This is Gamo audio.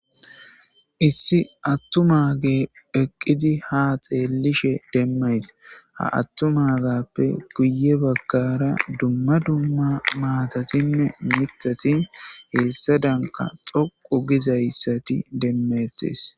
issi attumage eqqidi ha xeellishe demmays ha attumagappe guye bagara dumma dumma maatatinne mitati heessa danka xoqu gizayssati demmettes